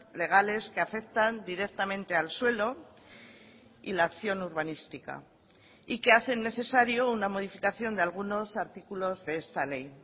legales que afectan directamente al suelo y la acción urbanística y que hacen necesario la modificación de algunos artículos de esta ley